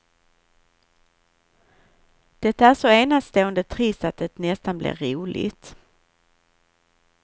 Det är så enastående trist att det nästan blir roligt.